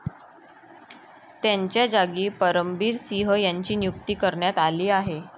त्यांच्याजागी परमबीर सिंह यांची नियुक्ती करण्यात आली आहे.